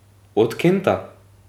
Od Kenta.